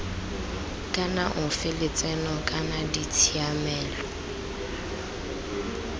kana ofe lotseno kana ditshiamelo